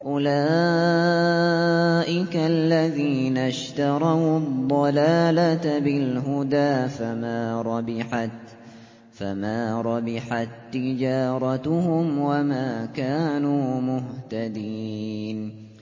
أُولَٰئِكَ الَّذِينَ اشْتَرَوُا الضَّلَالَةَ بِالْهُدَىٰ فَمَا رَبِحَت تِّجَارَتُهُمْ وَمَا كَانُوا مُهْتَدِينَ